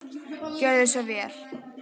Gjörðu svo vel.